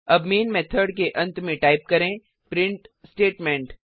अब main method के अंत में टाइप करें प्रिंट स्टेटमेंट